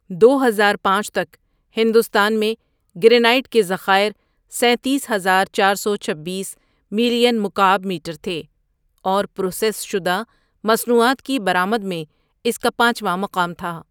دوہزار پانچ تک، ہندوستان میں گرینائٹ کے ذخائر سیتیس ہزار چار سو چھبیس ملین مکعب میٹر تھے اور پروسیس شدہ مصنوعات کی برآمد میں اس کا پانچواں مقام تھا.